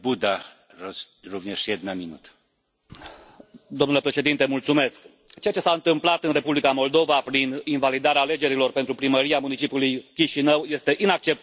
Domnul președinte, ceea ce s a întâmplat în Republica Moldova prin invalidarea alegerilor pentru primăria municipiului Chișinău este inacceptabil, fie chiar și pentru o democrația în curs de formare.